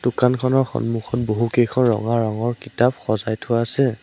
দোকানখনৰ সন্মুখত বহুকেইখন ৰঙা ৰঙৰ কিতাপ সজাই থোৱা আছে।